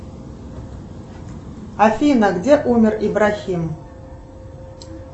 афина где умер ибрахим